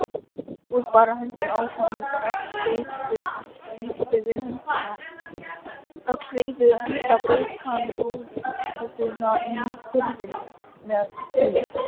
Sjáið bara höndina á honum, öll reifuð enda braut hann rúðuna í hurðinni með henni.